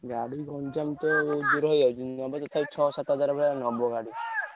ଗାଡି ଗଞ୍ଜାମ ତ ଦୂର ହେଇଯାଉଛି ତଥାପି ଛଅ ସାତ ହଜାର ଖଣ୍ଡେ ନବ ଗାଡି।